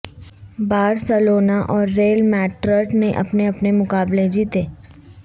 Barcelona اور Real Madrid نے اپنے اپنے مقابلے جیتے